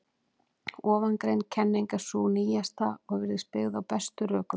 Ofangreind kenning er sú nýjasta og virðist byggð á bestum rökum.